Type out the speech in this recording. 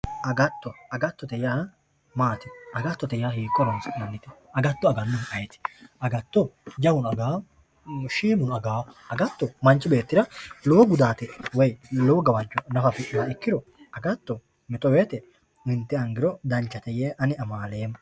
Agatto agattote yaa maati? agattote yaa hiikko horonsi'nannite? agatto agaahu ayiti? agatto jawu agawo shiimuno agawo agatto manchi beettira lowo gudaate woy lowo gawajjo afidhinoha nafu ikkiro agatto mito woyte lenderangiro danchate yee Ani amaaleemmo.